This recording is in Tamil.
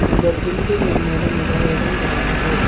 அந்த பில்டிங் முன்னாடி நறைய இடங் கடக்குது.